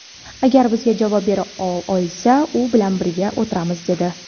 agar bizga javob bera olsa u bilan birga o‘tiramiz, dedi.